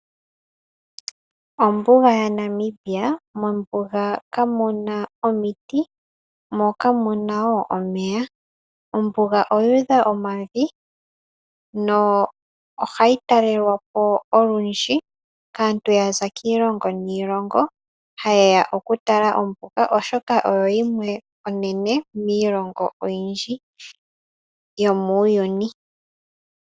Ombuga ya Namibia. Mombuga kamuna omuti moo kamuna omeya . Ombuga oyu udha omavi yo ohayi talelwapo olundji kaantu yaza kiilongo niilongo ha yeya okutala ombuga oshoka oyo yimwe onene miilongo oyindji yomuuyuni.